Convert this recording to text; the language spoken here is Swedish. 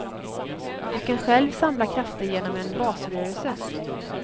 Du kan själv samla krafter genom en basrörelse.